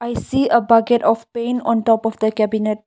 i see a bucket of paint on the top of the cabinet.